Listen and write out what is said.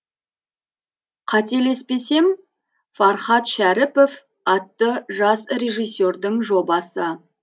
қателеспесем фархат шәріпов атты жас режиссердің жобасы